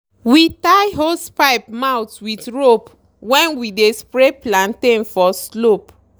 we tie hosepipe mouth with rope when we dey spray plantain for slope.